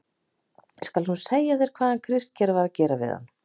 ÉG SKAL NÚ SEGJA ÞÉR HVAÐ HANN KRISTGEIR VAR AÐ GERA VIÐ HANN.